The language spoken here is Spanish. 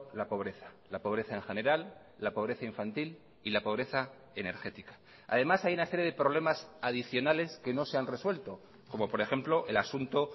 la pobreza la pobreza en general la pobreza infantil y la pobreza energética además hay una serie de problemas adicionales que no se han resuelto como por ejemplo el asunto